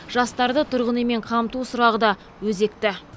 жастарды тұрғын үймен қамту сұрағы да өзекті